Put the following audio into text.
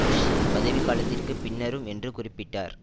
புஷ்ஷின் பதவிகாலத்திற்கு பின்னரும் என்று குறிப்பிட்டார்